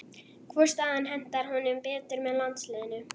Hvor staðan hentar honum betur með landsliðinu?